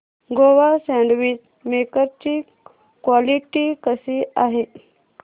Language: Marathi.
नोवा सँडविच मेकर ची क्वालिटी कशी आहे